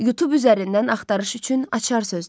Youtube üzərindən axtarış üçün açar sözlər.